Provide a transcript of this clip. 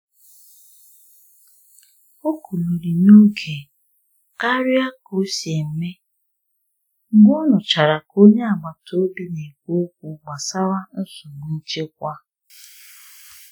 Ọ́ kúlirí n’ógé kárịá ká ó sí émé mgbé ọ́ nụ́chará ká ónyé àgbátá òbí ná-ékwú ókwú gbásárá nsógbú nchékwà.